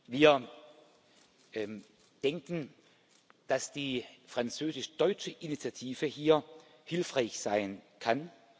Wir denken, dass die französisch deutsche Initiative hier hilfreich sein kann.